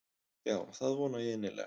Já það vona ég innilega.